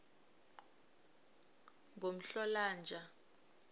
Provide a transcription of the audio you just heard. ngomhlolanja